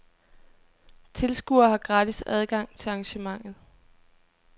Tilskuere har gratis adgang til arrangementet.